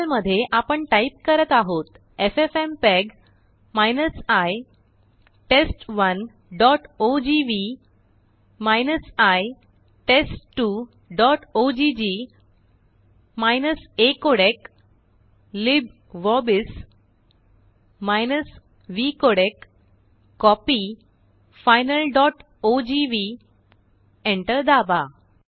terminal मध्ये आपणटाइप करत आहोत एफएफएमपीईजी i test1ओजीव्ही i test2ओग acodec लिबवर्बिस vcodec कॉपी finalओजीव्ही Enter दाबा